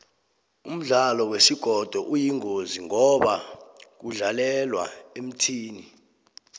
umdlalo wesigodo uyingozi ngoba kudlalelwa emthini